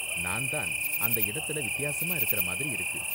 நான் தான் அந்த இடத்துல வித்தியாசமா இருக்குற மாதிரி இருக்கு.